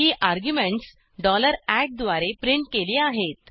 ही arguments द्वारे print केली आहेत